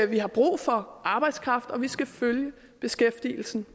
vi har brug for arbejdskraft og vi skal følge beskæftigelsen